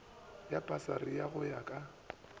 ya pasari go ya ka